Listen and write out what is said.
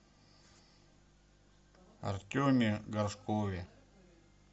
артеме горшкове